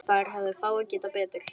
Þar hefðu fáir gert betur.